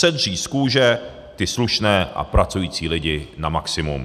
Sedřít z kůže ty slušné a pracující lidi na maximum.